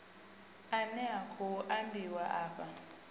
ane a khou ambiwa afha